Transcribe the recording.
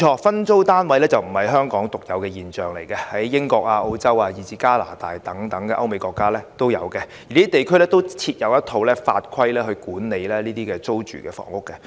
分租單位確實並非香港獨有的現象，亦見於英國、澳洲以至加拿大等歐美國家，而這些地區均設有一套法規管理這類租住房屋。